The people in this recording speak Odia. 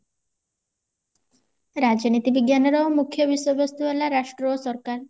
ରାଜନୀତି ବିଜ୍ଞାନର ମୁଖ୍ୟ ବିଷୟବସ୍ତୁ ହେଲା ରାଷ୍ଟ୍ର ଓ ସରକାର